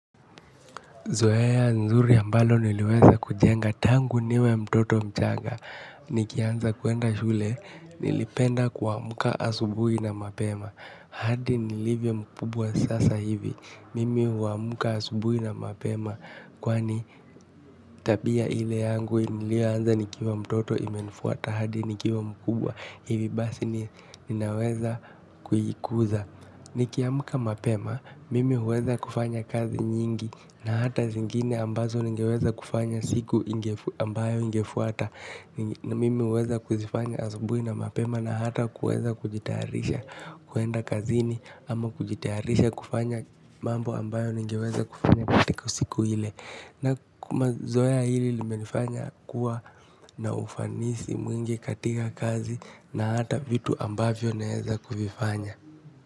Zoea nzuri ambalo niliweza kujenga tangu niwe mtoto mchana. Nikianza kuenda shule, nilipenda kuamka asubuhi na mapema. Hadi nilivyo mkubwa sasa hivi mimi huamka asubuhi na mapema. Kwani tabia ile yangu nilioanza nikiwa mtoto imenifuata, hadi nikiwa mkubwa hivi basi ninaweza kujikuza. Nikiamka mapema mimi huweza kufanya kazi nyingi na hata zingine ambazo ningeweza kufanya siku ambayo ingefuata. Na mimi huweza kuzifanya asubuhi na mapema na hata huweza kujitayarisha kuenda kazini. Ama kujitayarisha kufanya mambo ambayo ningeweza kufanya katika siku ile. Na mazoea hili limenifanya kuwa na ufanisi mwingi katika kazi na hata vitu ambavyo neeza kuvifanya.